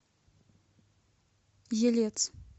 елец